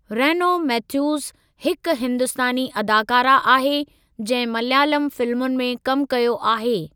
Renault Mathews हिकु हिंदुस्तानी अदाकारा आहे जंहिं मलयालम फिल्मुनि में कमु कयो आहे।